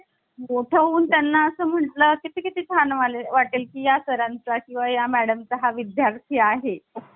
तर आता आपण हे तीन Case नीट अभ्यासायचे आहे यावर खूप सारे प्रश्न येऊन गेलेले आहे. न्यायालयांनी अस सांगितल प्रस्तावना हि घटनेचा भाग नाही. केशवानंद भारती यांनी सांगितलं कि ती भाग आहे.